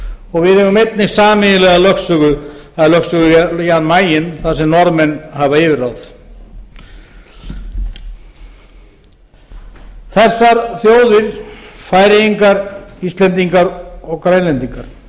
og við eigum einnig sameiginlega lögsögu að lögsögu jan mayen þar sem norðmenn hafa yfirráð þessar þjóðir færeyingar íslendingar og grænlendingar